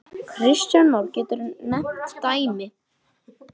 Kristján Már: Geturðu nefnt dæmi?